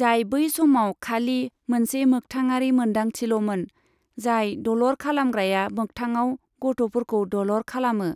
जाय बै समाव खालि मोनसे मोख्थाङारि मोनदांथिल'मोन, जाय दलर खालामग्राया मोख्थाङाव गथ'फोरखौ दलर खालामो।